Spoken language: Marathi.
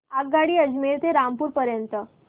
आगगाडी अजमेर ते रामपूर पर्यंत